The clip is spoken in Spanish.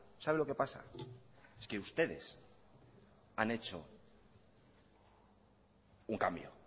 sabe lo que pasa es que ustedes han hecho un cambio